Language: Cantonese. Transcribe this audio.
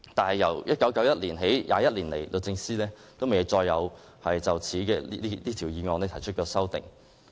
然而，由1991年起，律政司沒有再就此議案提出修訂。